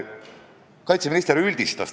Kaitseminister üldistas.